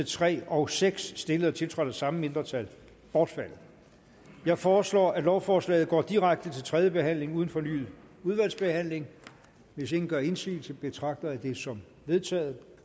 tre og seks stillet og tiltrådt af de samme mindretal bortfaldet jeg foreslår at lovforslaget går direkte til tredje behandling uden fornyet udvalgsbehandling hvis ingen gør indsigelse betragter jeg det som vedtaget